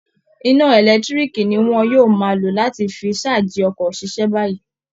Iná ẹ̀lẹ́tiíríìkì ni wọ́n yóò máa lò láti fi ṣáàjì ọkọ̀ ṣiṣẹ́ báyìí